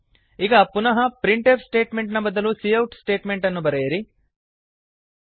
ಈಗ ಪುನಃ printf statement ನ ಬದಲು ಸಿಔಟ್ ಸ್ಟೇಟ್ಮೆಂಟ್ ಅನ್ನು ಬರೆಯಿರಿ